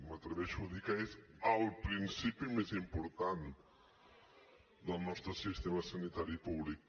m’atreveixo a dir que és el principi més important del nostre sistema sanitari públic